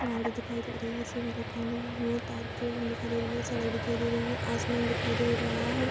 गाड़ी दिखाई दे रही है। सिम दिखाई दे रही है। तार केबल दिखाई दे रही है। सड़क दिखाई दे रही है। आसमान दिखाई दे रहा है।